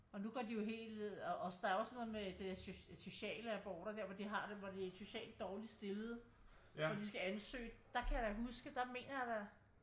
Og nu går de jo helt ned og øh der også noget med sociale aborter der hvor de har det hvor det er socialt dårligt stillede hvor de skal ansøge der kan jeg da huske der mener jeg der